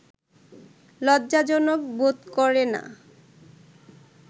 লজ্জাজনক বোধ করে না